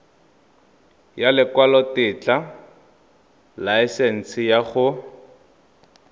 ya lekwalotetla laesense ya go